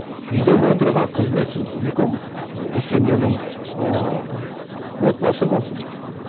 үйдегі отырған қызметсіз үлкен ы семьяның ыыы отбасы болсын